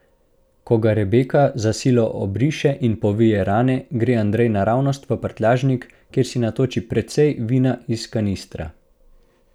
Ko ga Rebeka za silo obriše in povije rane, gre Andrej naravnost v prtljažnik, kjer si natoči precej vina iz kanistra.